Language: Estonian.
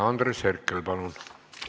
Andres Herkel, palun!